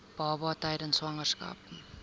baba tydens swangerskap